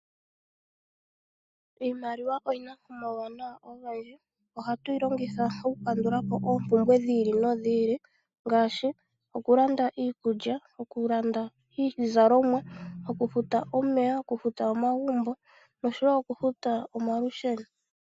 Iimaliwa oyina omawuwanawa ogendji nohatuyi longitha oku kandulapo oompumbwe dhiili nodhiili ngasashi oku landa iikulya , oku landa iizalomwa, okufuta omeya nomagumbo noshowo okufuta omalusheno.